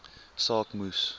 saak moes